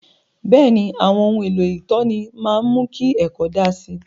Bẹ́ẹ̀ni, àwọn ohun èlò ìtọ́ni máa ń mú kí ẹ̀kọ́ daa si